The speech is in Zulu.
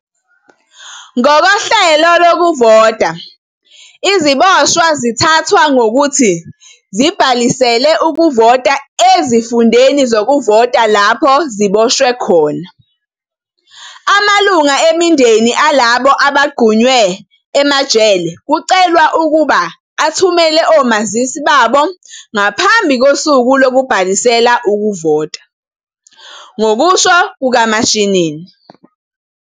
"Ngokohlelo lokuvota, iziboshwa zithathwa ngokuthi zibhalisele ukuvota ezifundeni zokuvota lapho ziboshwe khona. "Amalungu emindeni alabo abagqunywe emajele kucelwa ukuba athumele omazisi babo ngaphambi kosuku lokubhalisela ukuvota," ngokusho kukaMashinini.